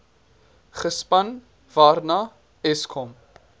gespan waarna eskom